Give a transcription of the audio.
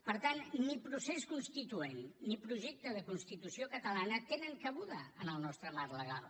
per tant ni procés constituent ni projecte de constitució catalana tenen cabuda en el nostre marc legal